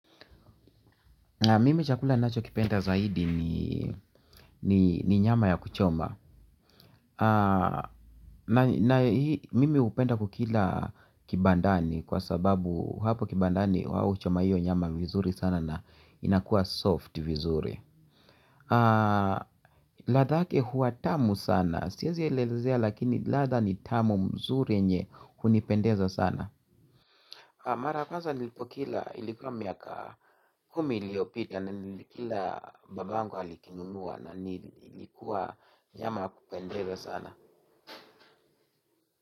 Mimi chakula ninacho kipenda zaidi ni nyama ya kuchoma. Mimi hupenda ku kila kibandani kwa sababu hapo kibandani wao huchoma hiyo nyama vizuri sana na inakuwa soft vizuri. Ladha yake hua tamu sana, siwezi elezea lakini ladha ni tamu mzuri yenye hunipendeza sana. Mara kwanza nilipo kila ilikuwa miaka kumi iliopita na nilikila babangu alikinunua na ilikuwa nyama kupendeza sana.